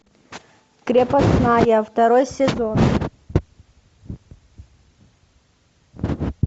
крепостная второй сезон